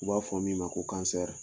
U b'a fɔ min ma ko